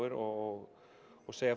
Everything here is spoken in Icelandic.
og og segja